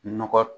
Nɔgɔ